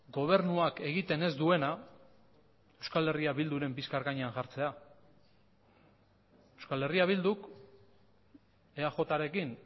gobernuak egiten ez duena euskal herria bilduren bizkar gainean jartzea euskal herria bilduk eajrekin